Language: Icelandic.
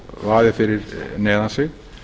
vaðið fyrir neðan sig